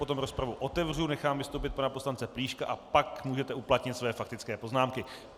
Potom rozpravu otevřu, nechám vystoupit pana poslance Plíška a pak můžete uplatnit své faktické poznámky.